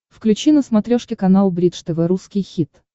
включи на смотрешке канал бридж тв русский хит